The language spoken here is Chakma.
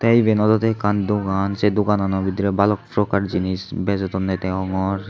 tey iben olodey ekkan dogan sei doganano bidirey balok prokar jinis bejodonney degongor.